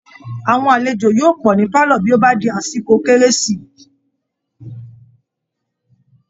Aàwọn alejò yóò pọ̀ ní pálọ̀ bí ó bá di àsìkò kérési